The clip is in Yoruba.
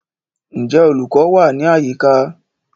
Ǹjẹ́ olùkọ́ wà ní àyíká?